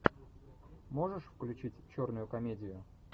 можешь включить черную комедию